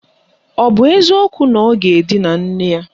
Ọ bụ eziokwu na ọ ga-edina nne ya?